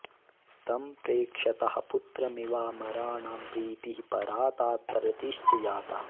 तं प्रेक्षतः पुत्रमिवामराणां प्रीतिः परा तात रतिश्च जाता